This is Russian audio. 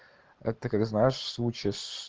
это как ты знаешь случай с